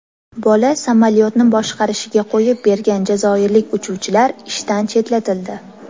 Bola samolyotni boshqarishiga qo‘yib bergan jazoirlik uchuvchilar ishdan chetlatildi.